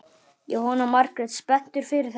Jóhanna Margrét: Spenntur fyrir þessu?